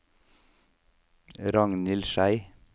Ragnhild Schei